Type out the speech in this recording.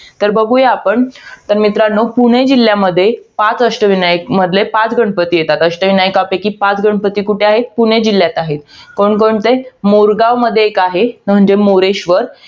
तर बघूया आपण, तर मित्रांनो, पुणे जिल्ह्यामध्ये पाच अष्टविनायकमधले, पाच गणपती येतात. अष्टविनायकापैकी पाच गणपती कुठे आहेत? पुणे जिल्ह्यात आहेत. कोणकोणते आहेत? मोरगावमध्ये एक आहे. म्हणजे मोरेश्वर.